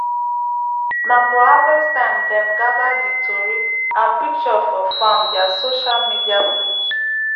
na for harvest time dem gather di tori and pishure for farm dia sosha media page